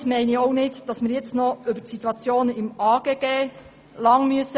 Damit meine ich auch nicht, dass wir jetzt noch lange über die Situation im AGG sprechen müssen.